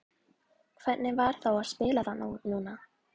Hvernig var þá að spila þarna núna?